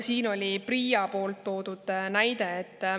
Veel toodi siin PRIA näide.